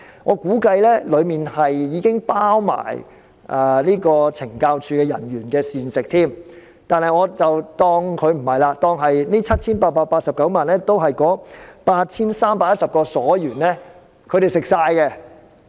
我估計當中已包括懲教署人員的膳食，但我不計算在內，且將這 7,889 萬元當作全用於 8,310 名囚犯或所員的膳食費。